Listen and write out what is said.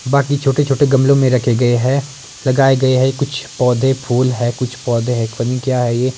बाकी छोटे-छोटे गमलों में रखे गए हैं लगाए गए हैं कुछ पौधे फूल है कुछ पौधे हैं पता नहीं क्या है ये--